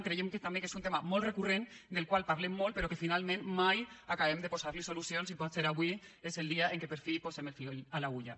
creiem també que és un tema molt recurrent del qual parlem molt però que finalment mai acabem de posar hi solucions i potser avui és el dia en què per fi posem el fil a l’agulla